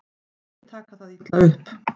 Ekki taka það illa upp.